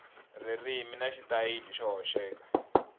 ririmi na xitayili xo hoxeka